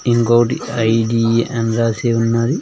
ఇంకోటి ఐ_డి అని రాసి ఉన్నది.